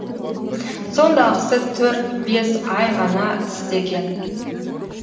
сондағысы төрт бес ай ғана істеген